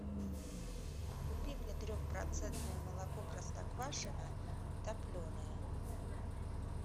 купи мне трехпроцентное молоко простоквашино топленое